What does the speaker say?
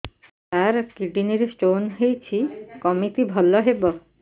ସାର kidney ରେ stone ହେଇଛି କମିତି ଭଲ ହେବ